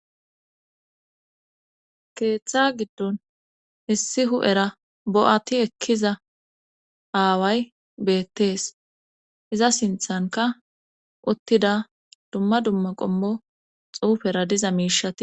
keeththa giddon issi hu7era bo7ati ekkiza aaway beettees iza sinthanka uttida dumma dumma qommo xuufera diza miishati